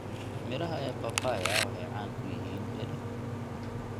Midhaha ee papaya waxay caan ku yihiin dhadhan.